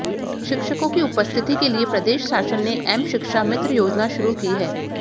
शिक्षकों की उपस्थिति के लिए प्रदेश शासन ने एम शिक्षा मित्र योजना शुरू की है